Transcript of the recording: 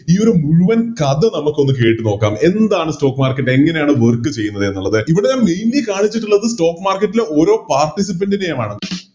ഈയൊരു മുഴുവൻ കഥ നമുക്ക് കേട്ടു നോക്കാം എന്താണ് Stock market എങ്ങനെയാണത് Work ചെയ്യുന്നത് എന്നുള്ളത് ഇവിടെ Mainly കാണിച്ചിട്ടുള്ളത് Stock market ൻറെ ഓരോ Participant നെയുമാണ്